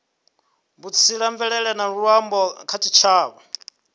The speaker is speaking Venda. vhutsila mvelele na luambo kha tshitshavha